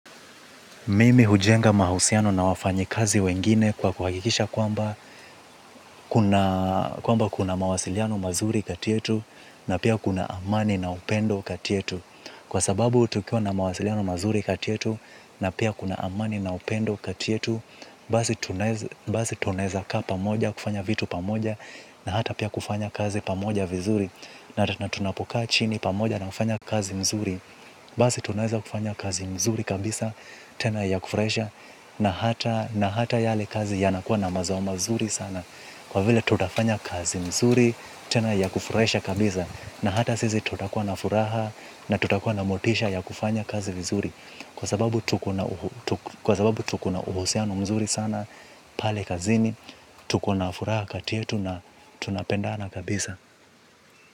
Mimi hujenga mahusiano na wafanyikazi wengine kwa kuhakikisha kwamba kwamba kuna mawasiliano mazuri kati yetu na pia kuna amani na upendo kati yetu. Kwa sababu tukiwa na mawasiliano mazuri kati yetu na pia kuna amani na upendo kati yetu, basi tunaweza kaa pamoja kufanya vitu pamoja na hata pia kufanya kazi pamoja vizuri. Na tunapokaa chini pamoja na kufanya kazi mzuri basi tunaweza kufanya kazi mzuri kabisa tena ya kufurahisha na hata na hata yale kazi yanakuwa na mazao mazuri sana kwa vile tutafanya kazi mzuri tena ya kufurahisha kabisa na hata sisi tutakuwa na furaha na tutakuwa na motisha ya kufanya kazi vizuri kwa sababu tuko na uhusiano mzuri sana pale kazini tuko na furaha kati yetu na tunapendana kabisa.